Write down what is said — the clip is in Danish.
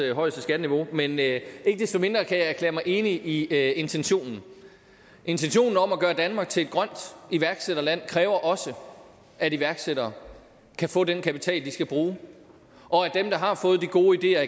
højeste skatteniveau men ikke desto mindre kan jeg erklære mig enig i intentionen intentionen om at gøre danmark til et grønt iværksætterland kræver også at iværksættere kan få den kapital de skal bruge og at dem der har fået de gode ideer